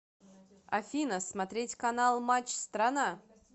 афина смотреть канал матч страна